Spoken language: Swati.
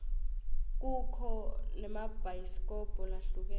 kukho naemabhayisikobho lahlukene